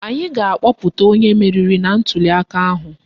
Anyị ga-akpọpụta onye meriri na ntuliaka ahụ